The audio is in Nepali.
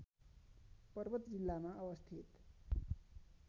पर्वत जिल्लामा अवस्थित